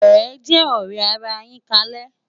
Ejè òrè àrá yin kálè